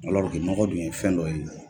nɔgɔ dun ye fɛn dɔ ye.